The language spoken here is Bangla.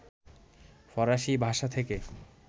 ফরাসী ভাষা থেকে